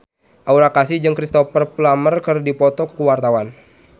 Aura Kasih jeung Cristhoper Plumer keur dipoto ku wartawan